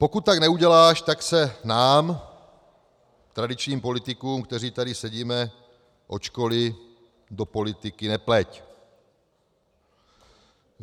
Pokud tak neuděláš, tak se nám, tradičním politikům, kteří tady sedíme od školy, do politiky nepleť!